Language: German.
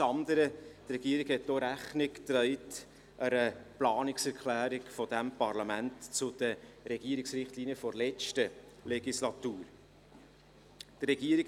Zum anderen hat die Regierung auch einer Planungserklärung dieses Parlaments zu den Regierungsrichtlinien der letzten Legislatur Rechnung getragen.